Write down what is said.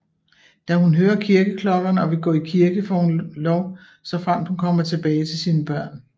Da hun hører kirkeklokkeerne og vil gå i kirke får hun lov såfremt hun kommer tilbage til sine børn